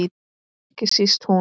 Ekki síst hún.